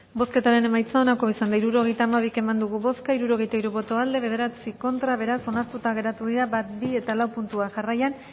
bozketaren emaitza onako izan da hirurogeita hamabi eman dugu bozka hirurogeita hiru boto aldekoa nueve contra beraz onartuta geratu dira bat bi eta lau puntuak jarraian